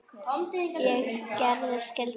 Ég gerði skyldu mína.